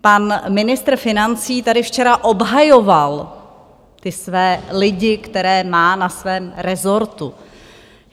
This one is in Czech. Pan ministr financí tady včera obhajoval ty své lidi, které má na svém resortu.